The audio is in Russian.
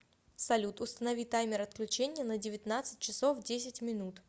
салют установи таймер отключения на девятнадцать часов десять минут